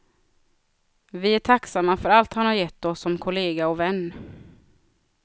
Vi är tacksamma för allt han har gett oss som kollega och vän.